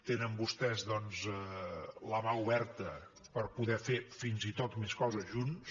tenen vostès doncs la mà oberta per poder fer fins i tot més coses junts